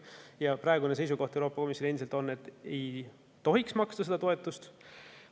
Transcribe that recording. Ja praegu on Euroopa Komisjonil endiselt seisukoht, et ei tohiks seda toetust maksta.